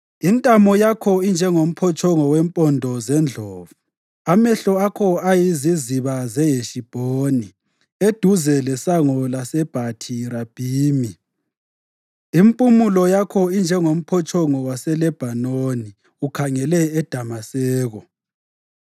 Intamo yakho injengomphotshongo wempondo zendlovu. Amehlo akho ayiziziba zeHeshibhoni eduze lesango laseBhathi Rabhimi. Impumulo yakho injengomphotshongo waseLebhanoni ukhangele eDamaseko.